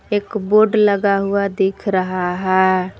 एक बोर्ड लगा हुआ दिख रहा हैं।